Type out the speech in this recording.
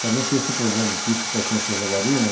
para não ter esse problema de que isso pertence a Jaguariúna.